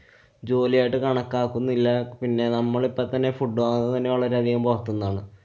ജോലിയായിട്ടു കണക്കാക്കുന്നില്ല. പിന്നെ നമ്മള് ഇപ്പൊ തന്നെ food വാങ്ങുന്നതു തന്നെ വളരെയധികം പൊറത്തുന്നാണ്.